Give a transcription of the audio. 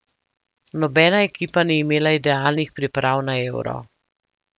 Nobena ekipa ni imela idealnih priprav na Euro.